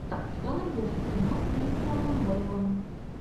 что найдешь из кино с кристианом бэйлом